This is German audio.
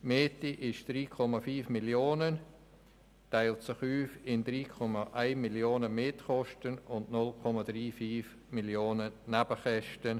Die Miete beträgt 3,5 Mio. Franken, die sich in Mietkosten von 3,1 Mio. Franken und in Nebenkosten von 0,35 Mio. Franken aufteilen.